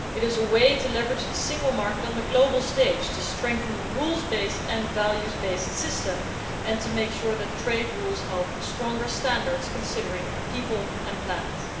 It is a way to leverage the single market on the global stage, to strengthen the rules based and values based system and to make sure that trade rules help stronger standards, considering people and planners.